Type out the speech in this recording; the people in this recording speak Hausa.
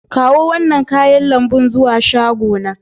Kawo wannan kayan lambu zuwa shagona.